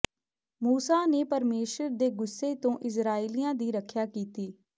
ਮੂਸਾ ਨੇ ਪਰਮੇਸ਼ੁਰ ਦੇ ਗੁੱਸੇ ਤੋਂ ਇਸਰਾਏਲੀਆਂ ਦੀ ਰੱਖਿਆ ਕੀਤੀ